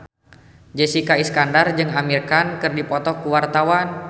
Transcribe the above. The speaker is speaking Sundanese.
Jessica Iskandar jeung Amir Khan keur dipoto ku wartawan